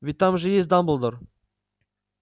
ведь там же есть дамблдор